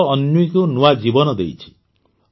ଯୋଗ ଅନ୍ୱୀକୁ ନୂଆ ଜୀବନ ଦେଇଛି